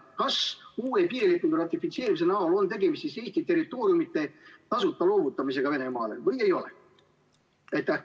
Kas uue piirilepingu ratifitseerimise näol on tegemist Eesti territooriumide tasuta loovutamisega Venemaale või ei ole?